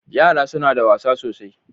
Yara suna da wasa sosai.